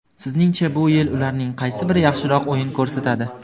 Sizningcha bu yil ularning qaysi biri yaxshiroq o‘yin ko‘rsatadi?.